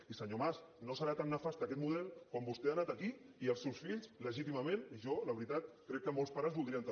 i senyor mas no deu ser tan nefast aquest model quan vostè ha anat aquí i els seus fills legítimament i jo la veritat crec que molts pares ho voldrien també